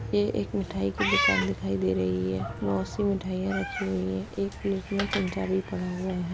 ये एक मिठाई की दुकान दिखाई दे रही है बोहोत सी मिठाईया रखी हुई हैं। एक प्लेट में चमचा पड़ा हुआ है।